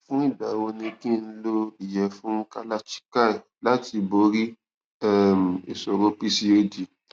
fún ìgbà wo ni kí n lo iyefun kalachikai láti borí um ìṣòro pcod